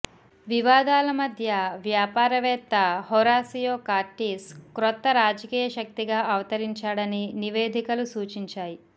వివాదాల మధ్య వ్యాపారవేత్త హొరాసియో కార్టీస్ క్రొత్త రాజకీయ శక్తిగా అవతరించాడని నివేదికలు సూచించాయి